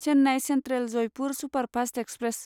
Chennai central Jaipur superfast express